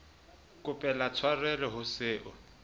kopela tshwarelo o se o